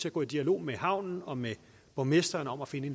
at gå i dialog med havnen og med borgmesteren om at finde